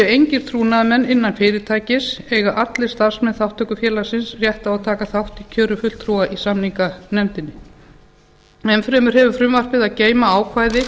engir trúnaðarmenn innan fyrirtækis eiga allir starfsmenn þátttökufélagsins rétt á að taka þátt í kjöri fulltrúa í samninganefndina enn fremur hefur frumvarpið að geyma ákvæði